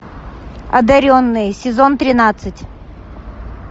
одаренные сезон тринадцать